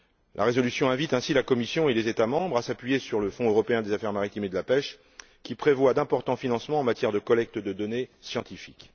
La résolution invite ainsi la Commission et les États membres à s'appuyer sur le Fonds européen pour les affaires maritimes et la pêche, qui prévoit d'importants financements en matière de collecte de données scientifiques.